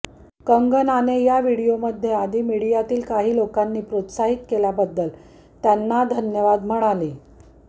कंगनाने या व्हिडिओमध्ये आधी मीडियातीळ काही लोकांनी प्रोत्साहित केल्याबद्दल त्यांना धन्यवाद म्हणले